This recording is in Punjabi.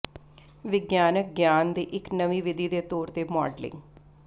ਵਿਗਿਆਨਕ ਗਿਆਨ ਦੀ ਇੱਕ ਵਿਧੀ ਦੇ ਤੌਰ ਤੇ ਮਾਡਲਿੰਗ